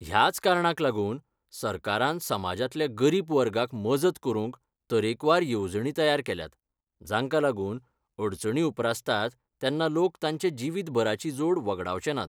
ह्याच कारणाक लागून सरकारान समाजांतल्या गरीब वर्गाक मजत करूंक तरेकवार येवजणी तयार केल्यात , जांका लागून, अडचणी उपरासतात तेन्ना लोक तांचे जिवीतभराची जोड वगडावचेनात.